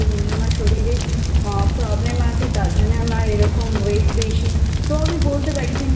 এমনি আমার শরীরে উম Problem আছে তার জন্যে আমার এরকম Weight বেশি তো আমি বলতে পারি কিন্তু